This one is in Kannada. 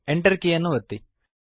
Enter ಕೀಯನ್ನು ಒತ್ತಿ